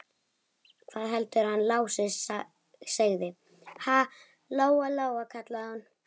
Hvað heldurðu að hann Lási segði, ha, Lóa Lóa, kallaði hún.